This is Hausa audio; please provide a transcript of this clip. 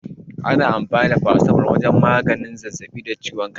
Ana anfani da farasitamol wajen magance zazzaɓi da ciwon kai.